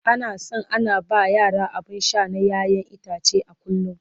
ana San ana ba yara abun Sha na ƴaƴan itace a kullum